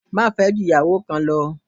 Má fẹ́ ju ìyàwó kan lo